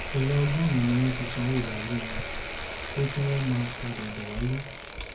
èèyàn ọgọrùnún ni wọn ti sanwó báàlùú wọn pé kí wọn fi máa padà bó wálé